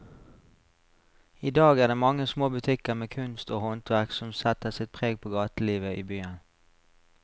I dag er det de mange små butikkene med kunst og håndverk som setter sitt preg på gatelivet i byen.